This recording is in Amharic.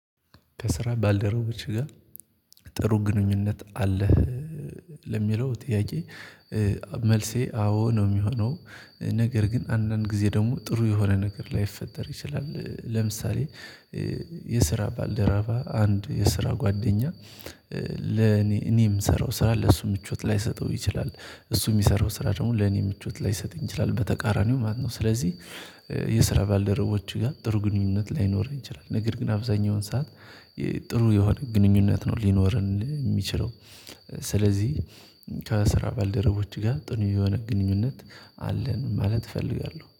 ከስራ ባልደረቦች ጋር ጥሩ ግንኙነት አለህ? ለሚለው ጥያቄ መልሴ አዎ ነው የሚሆነው። ነገር ግን አንዳንድ ጊዜ ደግሞ ጥሩ የሆነ ነገር ላይፈጠር ይችላል ለምሳሌ። የስራ ባልደረባ አንድ የስራ ጓደኛ ለኔ እኔ የምሰራው ስራ ለሱ ምቾት ላይሰጠው ይችላል። እሱ የሚሰራው ስራ ደግሞ ለኔ ምቾት ላይሰጥ ይችላል በተቃራኒው ማለት ነው። ስለዚህ የስራ ባልደረቦች ጋር ጥሩ ግንኙነት ላይኖረን ይችላል ነገር ግን አብዛኛውን ሰዓት ጥሩ የሆነ ግንኙነት ነው ሊኖረን የሚችለው። ስለዚህ ከስራ ባልደረቦች ጋር ጥሩ የሆነ ግንኙነት አለን ማለት እፈልጋለሁ